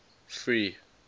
free